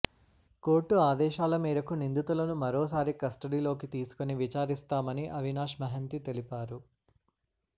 court ఆదేశాల మేరకు నిందితులను మరోసారి కస్ట డీలోకి తీసుకుని విచారిస్తామని అవినాష్ మహంతి తెలిపారు